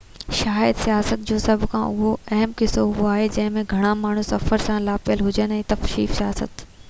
شايد سياحت جو سڀ کان اهم قسم اهو آهي تہ جنهن ۾ گهڻا ماڻهو سفر سان لاپيل هجن تفريح سياحت